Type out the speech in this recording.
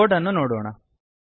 code ಅನ್ನು ನೋಡೋಣ